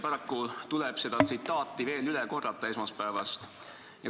Paraku tuleb üht esmaspäevast tsitaati veel üle korrata.